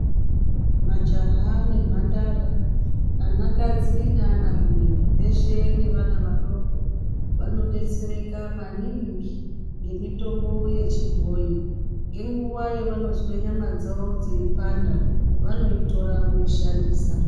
Majaha nemhandara, anakaji neanarume veshe nevana vadoko vanodetsereka maningi nemitombo yechibhoyi. Ngenguwa yavanozwe nyama dzawo dzeipanda vanoitora voishandisa.